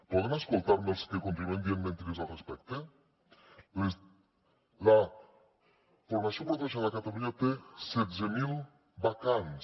poden escoltar me els que continuen dient mentides al respecte la formació professional a catalunya té setze mil vacants